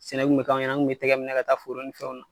Sɛnɛ kun be k'anw ɲɛna an kun tɛgɛ be minɛ ka taa foro ni fɛnw na.